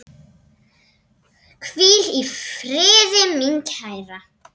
Hvíl í friði, mín kæra.